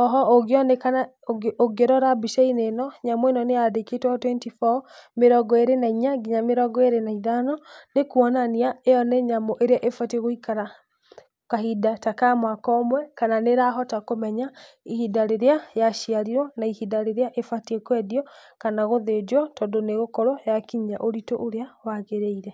o ho ũngĩrora mbica-inĩ ĩno nyamũ ĩno nĩ ya ndĩkĩtwo twenty four, mĩrongo ĩrĩ na inya, nginya mĩrongo ĩrĩ na ithano, nĩ kwonania ĩyo nĩ nyamũ ĩrĩa ĩbatie gũikara kahinda ta ka mwaka ũmwe, kana nĩrahota kũmenya ihinda rĩrĩa ya ciarirwo na ihinda rĩrĩa ĩbatie kwendio, kana gũthĩnjwo tondũ nĩ gũkorwo yakinyia ũritũ ũrĩa ya gĩrĩire.